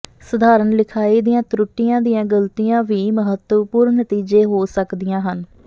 ਸਧਾਰਨ ਲਿਖਾਈ ਦੀਆਂ ਤਰੁੱਟੀਆਂ ਦੀਆਂ ਗਲਤੀਆਂ ਵੀ ਮਹੱਤਵਪੂਰਣ ਨਤੀਜੇ ਹੋ ਸਕਦੀਆਂ ਹਨ